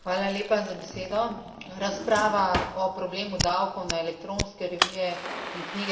Razprava o problemu davkov na elektronske revije in knjige teče že dolgo.